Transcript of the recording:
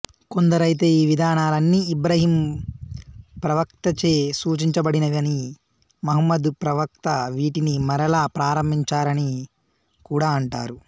కొందరైతే ఈ విధానలన్నీ ఇబ్రాహీం ప్రవక్తచే సూచించబడినవనీ మహమ్మదు ప్రవక్త వీటిని మరలా ప్రారంభించారని కూడా అంటారు